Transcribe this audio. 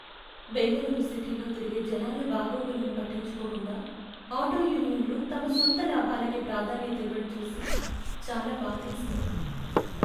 బెంగళూరు సిటీలో తిరిగే జనాల బాగోగులను పట్టించుకోకుండా ఆటో యూనియన్లు తమ సొంత లాభాలకే ప్రాధాన్యత ఇవ్వడం చూసి చాలా బాధేసింది.